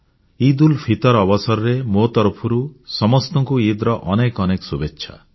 ଇଦଉଲ୍ଫିତର ଅବସରରେ ମୋ ତରଫରୁ ସମସ୍ତଙ୍କୁ ଇଦ୍ ର ଅନେକ ଅନେକ ଶୁଭେଚ୍ଛା